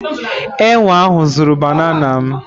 Enwe ahụ zuru banànà m.